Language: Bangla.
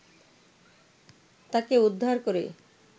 তাকে উদ্ধার করে